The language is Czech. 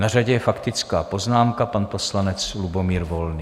Na řadě je faktická poznámka, pan poslanec Lubomír Volný.